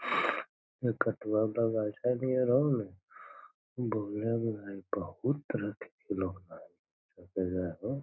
ए कटवा दावा खाय नियर हमनी बहुत तरह के --